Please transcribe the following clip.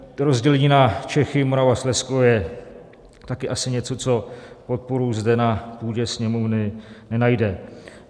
Rozdělení na Čechy, Moravu a Slezsko je také asi něco, co podporu zde na půdě Sněmovny nenajde.